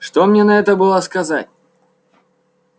что мне на это было сказать